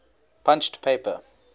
punched paper